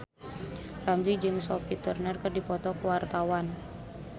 Ramzy jeung Sophie Turner keur dipoto ku wartawan